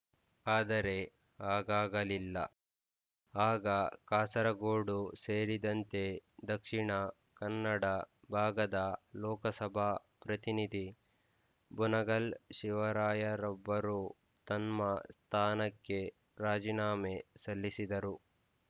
ಆದರೆ ಹಾಗಾಗಲಿಲ್ಲ ಆಗ ಕಾಸರಗೋಡು ಸೇರಿದಂತೆ ದಕ್ಷಿಣ ಕನ್ನಡ ಭಾಗದ ಲೋಕಸಭಾ ಪ್ರತಿನಿಧಿ ಬೆನಗಲ್ ಶಿವರಾಯರೊಬ್ಬರು ತಮ್ಮ ಸ್ಥಾನಕ್ಕೆ ರಾಜಿನಾಮೆ ಸಲ್ಲಿಸಿದರು